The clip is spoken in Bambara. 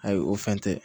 Ayi o fɛn tɛ